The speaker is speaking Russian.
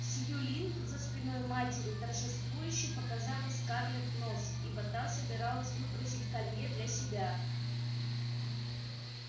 сьюлин за спиной матери торжествующе показала скарлетт нос ибо та собиралась выпросить колье для себя